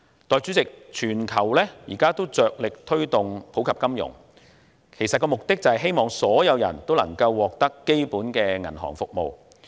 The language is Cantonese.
代理主席，現在全球都着力推動普及金融，目的是希望所有人都能夠使用基本的銀行服務。